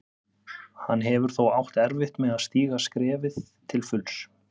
Hann hefur þó átt erfitt með að stíga skrefið til fulls.